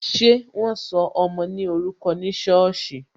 Ṣé wọn sọ ọmọ ní orúkọ ní sọ́ọ̀sì?